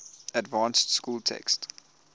advanced school text